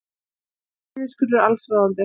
Niðurskurður allsráðandi